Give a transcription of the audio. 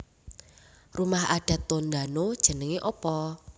Rumah adat Tondano jenenge opo?